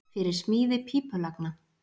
Fyrir smíði pípulagna